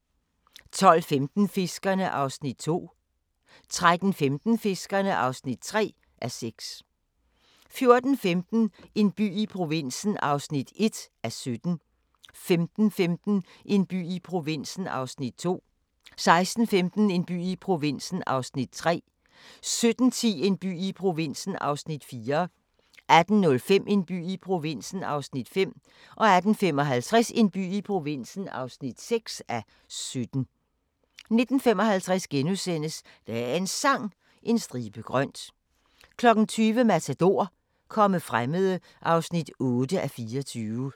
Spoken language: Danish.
12:15: Fiskerne (2:6) 13:15: Fiskerne (3:6) 14:15: En by i provinsen (1:17) 15:15: En by i provinsen (2:17) 16:15: En by i provinsen (3:17) 17:10: En by i provinsen (4:17) 18:05: En by i provinsen (5:17) 18:55: En by i provinsen (6:17) 19:55: Dagens Sang: En stribe grønt * 20:00: Matador – Komme fremmede (8:24)